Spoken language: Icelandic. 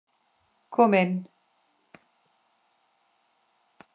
Kom inn